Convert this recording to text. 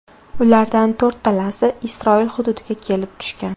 Ulardan to‘rttasi Isroil hududiga kelib tushgan.